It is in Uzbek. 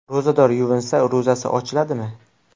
Ro‘zador yuvinsa, ro‘zasi ochiladimi?.